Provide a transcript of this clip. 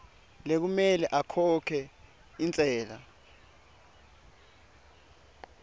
lekumele akhokhe intsela